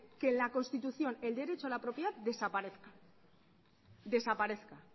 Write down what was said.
que en la constitución el derecho a la propiedad desaparezca